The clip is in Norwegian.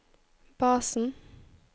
basen